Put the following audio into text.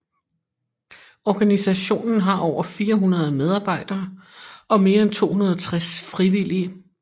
Organisationen har over 400 medarbejdere og mere end 260 frivillige